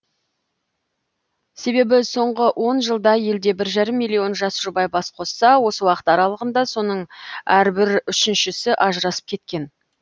себебі соңғы он жылда елде бір жарым миллион жас жұбай бас қосса осы уақыт аралығында соның әрбір үшіншісі ажырасып кеткен